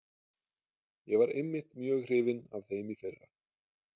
Ég var einmitt mjög hrifinn af þeim í fyrra.